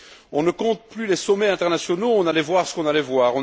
On ne compte plus les sommets internationaux, on allait voir ce qu'on allait voir.